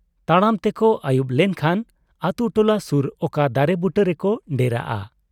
ᱛᱟᱲᱟᱢ ᱛᱮᱠᱚ ᱟᱹᱭᱩᱵ ᱞᱮᱱ ᱠᱷᱟᱱ ᱟᱹᱛᱩ ᱴᱚᱞᱟ ᱥᱩᱨ ᱚᱠᱟ ᱫᱟᱨᱮ ᱵᱩᱴᱟᱹ ᱨᱮᱠᱚ ᱰᱮᱨᱟᱜᱼᱟ ᱾